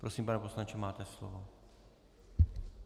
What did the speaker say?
Prosím, pane poslanče, máte slovo.